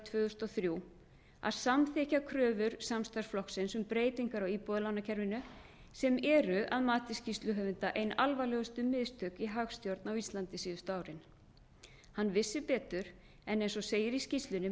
og þrjú að samþykkja kröfur samstarfsflokksins um breytingar á íbúðalánakerfinu sem eru að mati skýrsluhöfunda ein alvarlegustu mistök í hagstjórn á íslandi síðustu árin hann vissi betur en eins og segir í skýrslunni með